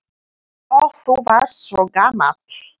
Og þú varst svo gamall.